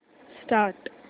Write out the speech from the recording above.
start